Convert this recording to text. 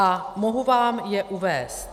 A mohu vám je uvést.